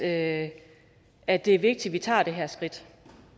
at at det er vigtigt at vi tager det her skridt